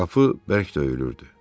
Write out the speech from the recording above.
Qapı bərk döyülürdü.